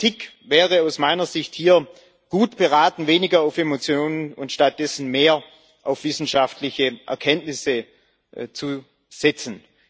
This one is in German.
Die Politik wäre aus meiner Sicht gut beraten, hier weniger auf Emotionen und stattdessen mehr auf wissenschaftliche Erkenntnisse zu setzen.